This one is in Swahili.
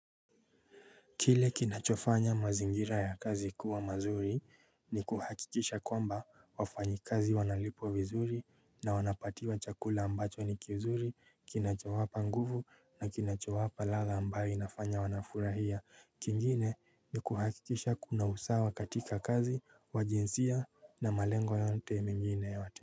Kile kinachofanya mazingira ya kazi kuwa mazuri ni kuhakikisha kwamba wafanyikazi wanalipwa vizuri na wanapatiwa chakula ambacho ni kizuri kinachowapa nguvu na kinachowapa ladha ambayo inafanya wanafurahia kingine ni kuhakikisha kuna usawa katika kazi wa jinsia na malengo yote mingine yote.